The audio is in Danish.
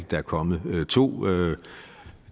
der er kommet to